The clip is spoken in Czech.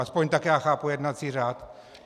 Aspoň tak já chápu jednací řád.